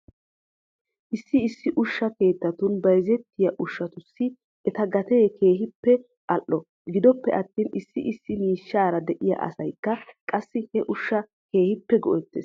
Issi issi ushsha keettatun bayzettiyaa ushshatussi eta gatee keehippe al"o. Gidoppe attin issi issi miishshaara de'iyaa asaykka qassi he ushshaa keehippe go'ettes.